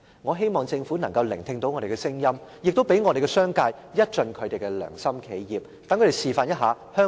我希望政府能夠聽到我們的聲音，亦讓商界一盡良心企業的本分，讓他們示範香港仍然是一個有良心的地方。